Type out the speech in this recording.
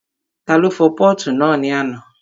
Ta ló fọ pọ́ọ̀tù náà ní àná?